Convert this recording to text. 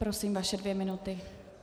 Prosím, vaše dvě minuty.